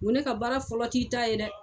N ko ne ka baara fɔlɔ t'i ta ye dɛ.